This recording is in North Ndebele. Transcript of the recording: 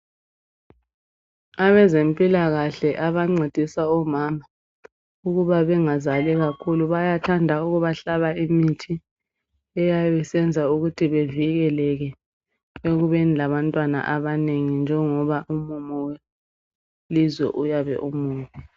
Abezempilakahle abangcedisa omama ukuba bengazali kakhulu bayathanda ukubahlaba imithi eyabe isenza ukuthi bevikeleke ekubeni labantwana abanengi njengoba umumo welizwe uyabe umubi